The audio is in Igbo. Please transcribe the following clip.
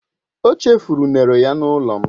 O chefuru unere ya n'ulo m